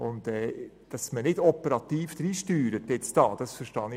Dass man sich nicht operativ einmischt, verstehe ich wie folgt: